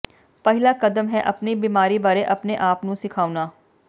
ਪਹਿਲਾ ਕਦਮ ਹੈ ਆਪਣੀ ਬੀਮਾਰੀ ਬਾਰੇ ਆਪਣੇ ਆਪ ਨੂੰ ਸਿਖਾਉਣਾ